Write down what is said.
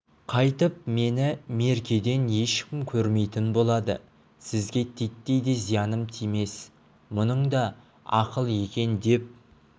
қайтып мені меркеден ешкім көрмейтін болады сізге титтей де зияным тимес мұның да ақыл екен деп